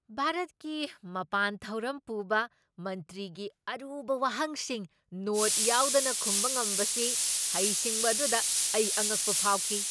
ꯚꯥꯔꯠꯀꯤ ꯃꯄꯥꯟ ꯊꯧꯔꯝ ꯄꯨꯕ ꯃꯟꯇ꯭ꯔꯤꯒꯤ ꯑꯔꯨꯕ ꯋꯥꯍꯪꯁꯤꯡ ꯅꯣꯠ ꯌꯥꯎꯗꯅ ꯈꯨꯝꯕ ꯉꯝꯕꯁꯤ ꯍꯩꯁꯤꯡꯕ ꯑꯗꯨꯗ ꯑꯩ ꯑꯉꯛꯄ ꯐꯥꯎꯈꯤ ꯫